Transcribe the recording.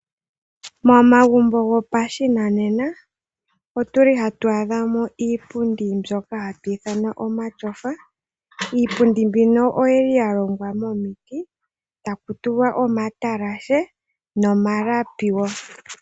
Momagumbo gopashinanena otuli hatu adhamo iipundi mbyoka hatu iithana omashofa. Iipundi mbika oyili ya longwa mo miti taku tulwa omatalashe nomalapi woo.